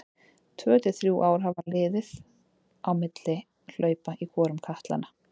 Tvö til þrjú ár hafa liðið á milli hlaupa í hvorum katlanna.